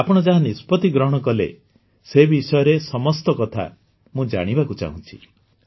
ଆପଣ ଯାହା ନିଷ୍ପତି ଗ୍ରହଣ କଲେ ସେ ବିଷୟରେ ସମସ୍ତ କଥା ମୁଁ ଜାଣିବାକୁ ଚାହୁଁଛି